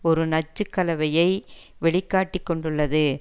ஒரு நச்சு கலவயை வெளி காட்டி கொண்டுள்ளது